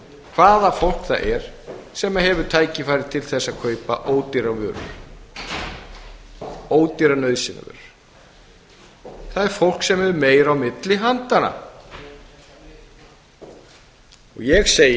hvaða fólk það er sem hefur tækifæri til þess að kaupa ódýrar vörur ódýrar nauðsynjavörur það er fólk sem hefur meira á milli handanna og ég segi